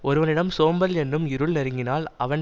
ஒருவனிடம் சோம்பல் என்னும் இருள் நெருங்கினால் அவன்